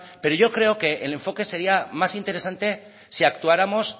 pero yo creo que el enfoque sería más interesante si actuáramos